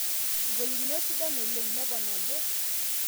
Ngolikinot sidan oleng,''nepon ajo.